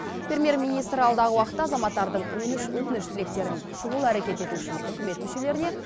премьер министр алдағы уақытта азаматтардың өтініш тілектерін шұғыл әрекет ету үшін үкімет мүшелеріне